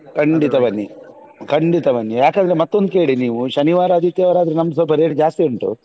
ಖಂಡಿತ ಬನ್ನಿ ಖಂಡಿತ ಬನ್ನಿ ಯಾಕಂದ್ರೆ ಮತ್ತೊಂದು ಕೇಳಿ ನೀವು ಶನಿವಾರ ಆದಿತ್ಯವಾರ ಆದ್ರೆ ನಮ್ದು ಸ್ವಲ್ಪ rate ಜಾಸ್ತಿ ಉಂಟು.